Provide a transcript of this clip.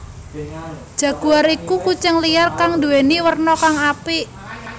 Jaguar iku kucing liar kang nduwèni werna kang apik